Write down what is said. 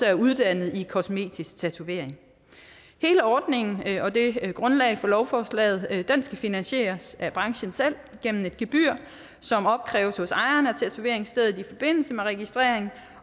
er uddannet i kosmetisk tatovering hele ordningen og det grundlag for lovforslaget skal finansieres af branchen selv gennem et gebyr som opkræves hos ejeren af tatoveringsstedet i forbindelse med registrering